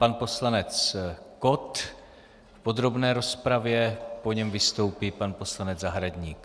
Pan poslanec Kott v podrobné rozpravě, po něm vystoupí pan poslanec Zahradník.